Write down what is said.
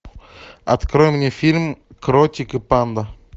открой мне фильм кротик и панда